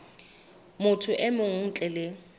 motho e mong ntle le